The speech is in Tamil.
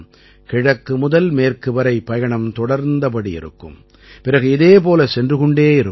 கிழக்கு முதல் மேற்கு வரை பயணம் தொடர்ந்தபடி இருக்கும் பிறகு இதே போல சென்று கொண்டே இருக்கும்